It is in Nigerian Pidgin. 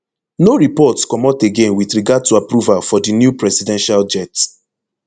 no reports comot again wit regard to approval for di new presidential jet